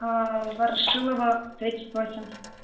ворошилова тридцать восемь